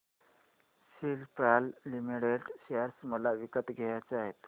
Cipla limited share मला विकत घ्यायचे आहेत